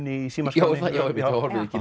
í símaskránni horfið ekki